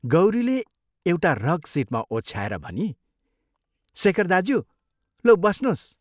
गौरीले एउटा रग सीटमा ओछ्याएर भनी "शेखर दाज्यू, लौ बस्नोस्।